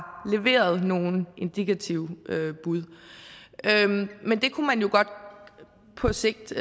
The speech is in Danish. leveret nogle indikative bud men det kunne man jo godt på sigt